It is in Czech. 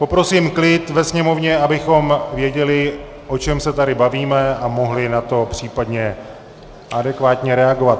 Poprosím klid ve sněmovně, abychom věděli, o čem se tady bavíme, a mohli na to případně adekvátně reagovat.